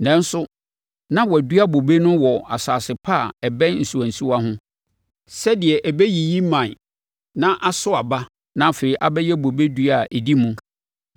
Nanso, na wɔadua bobe no wɔ asase pa a ɛbɛn nsuwansuwa ho, sɛdeɛ ɛbɛyiyi mman na aso aba na afei abɛyɛ bobe dua a ɛdi mu.’